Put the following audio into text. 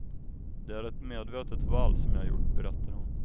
Det är ett medvetet val som jag gjort, berättar hon.